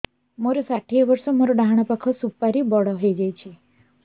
ମୋର ଷାଠିଏ ବର୍ଷ ମୋର ଡାହାଣ ପାଖ ସୁପାରୀ ବଡ ହୈ ଯାଇଛ